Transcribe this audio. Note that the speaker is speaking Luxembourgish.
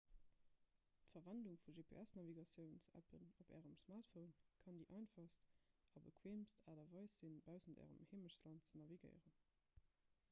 d'verwendung vun gps-navigatiouns-appen op ärem smartphone kann déi einfachst a bequeemst aart a weis sinn baussent ärem heemechtsland ze navigéieren